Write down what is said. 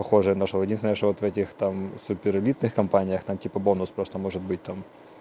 похоже нашёл единственное что вот в этих там супер элитных компаниях там типа бонус просто может быть там